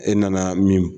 E nana min